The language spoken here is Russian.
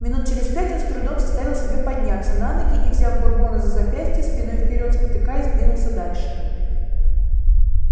минут через пять он с трудом заставил себя подняться на ноги и взяв бурбона за запястья спиной вперёд спотыкаясь двинулся дальше